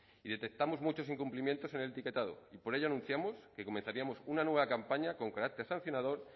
y detectamos muchos incumplimientos en el etiquetado y por ello anunciamos que comenzaríamos una nueva campaña con carácter sancionador